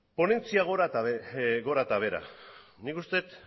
ponentzia gora eta behera nik uste dut